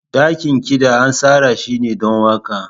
Dakin kiɗa an tsara shi don waƙa.